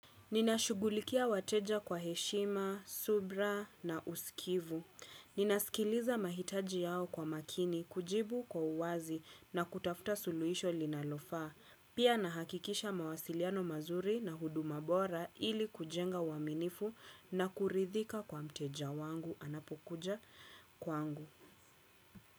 Ninashugulikia wateja kwa heshima, subira na usikivu. Ninaskiliza mahitaji yao kwa makini kujibu kwa uwazi na kutafuta suluisho linalofaa. Pia nahakikisha mawasiliano mazuri na huduma bora ili kujenga uwaminifu na kuridhika kwa mteja wangu anapokuja kwangu.